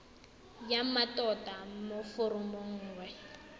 ya mmatota mo foromong nngwe